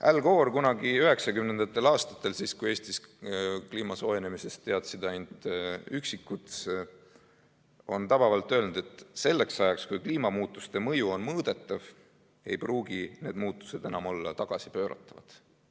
Al Gore on kunagi 1990. aastatel – siis, kui Eestis teadsid kliima soojenemisest ainult üksikud – tabavalt öelnud, et selleks ajaks, kui kliimamuutuste mõju on mõõdetav, ei pruugi need muutused enam olla tagasipööratavad.